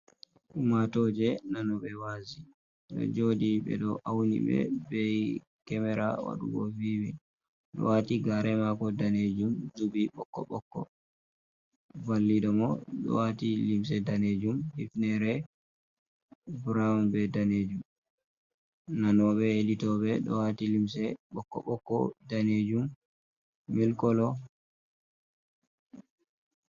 Ummatoje nanobe wazi ɗo joɗi ɓeɗo auni ɓe bei kemera wadugo viwin. Ɗo wati gare mako danejum zubi ɓokko ɓokko, vallida mo dowati limse danejum hifnere buraw be danejum. Nanoɓe helitobe dowati limse bokko bokko, danejum, milkolo.